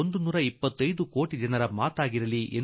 ಕೆಂಪುಕೋಟೆಯಿಂದ ಹೇಳುವ ಮಾತು 125 ಕೋಟಿ ಜನರ ಮಾತಾಗಲಿ